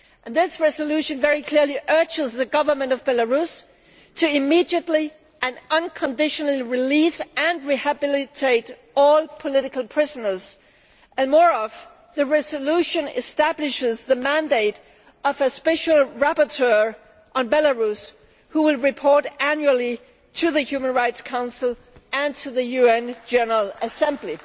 This resolution clearly urges the Government of Belarus to immediately and unconditionally release and rehabilitate all political prisoners and, moreover, the resolution establishes the mandate of a special rapporteur on Belarus who will report annually to the Human Rights Council and to the UN General Assembly.